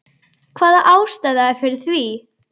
Hvaða ástæða er fyrir því?